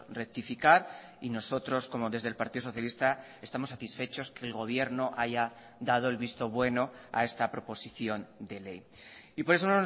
rectificar y nosotros como desde el partido socialista estamos satisfechos que el gobierno haya dado el visto bueno a esta proposición de ley y por eso